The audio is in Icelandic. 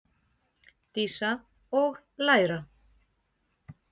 Dísa: Og læra.